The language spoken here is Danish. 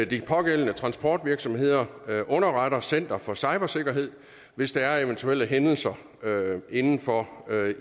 de pågældende transportvirksomheder underretter center for cybersikkerhed hvis der er eventuelle hændelser inden for